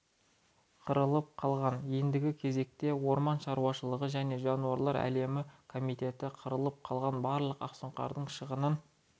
қырылып қалған ендігі кезекте орман шаруашылығы және жануарлар әлемі комитеті қырылып қалған барлық ақсұңқардың шығынын